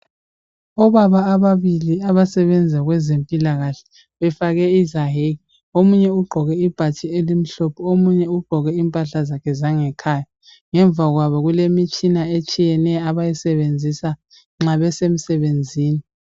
Obaba ababili abasebenza kwezempilakahle bafake izayeke omunye ugqoke ibhatshi elimhlophe omunye ugqoke impahla zakhe zangekhaya. Ngemva kwabo kulemitshina etshiyeneyo abayisebenzisa nxa besemsebenzini.